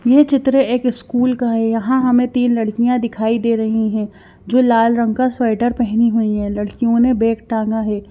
यह चित्र एक स्कूल का है यहां हमें तीन लड़कियां दिखाई दे रही हैं जो लाल रंग का स्वेटर पहनी हुई हैं लड़कियों ने बैक टांगा है।